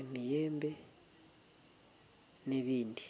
emiyembe n'ebindi.